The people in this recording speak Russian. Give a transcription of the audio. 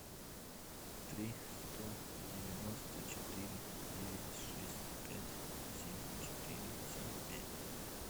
три сто девяносто четыре девять шесть пять семь четыре семь пять